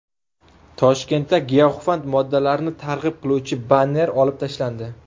Toshkentda giyohvand moddalarni targ‘ib qiluvchi banner olib tashlandi.